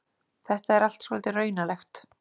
Þetta er allt svolítið raunalegt.